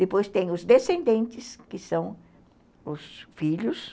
Depois tem os descendentes, que são os filhos.